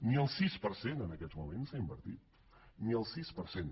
ni el sis per cent en aquests moments s’ha invertit ni el sis per cent